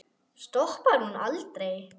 Stoppar hún aldrei?